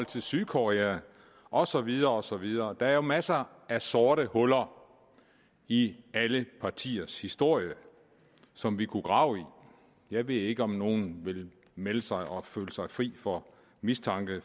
til sydkorea og så videre og så videre der er jo masser af sorte huller i alle partiers historie som vi kunne grave i jeg ved ikke om nogen vil melde sig og føle sig fri for mistanke